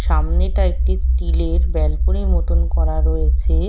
সামনেটা একটি স্টিলের ব্যালকনি র মতন করা রয়েছে।